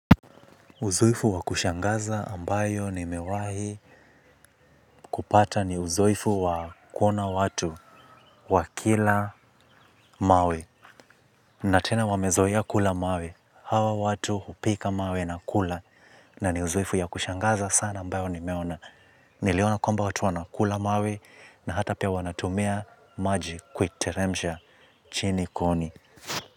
Uzoefu wa kushangaza ambayo nimewahi kupata ni uzoefu wa kuona watu wa kila mawe. Natena wamezoea kula mawe, hawa watu hupika mawe na kula na ni uzoefu ya kushangaza sana ambayo nimeona. Niliona kwamba watu wana kula mawe na hata pia wanatumia maji kwiteremisha chini koni.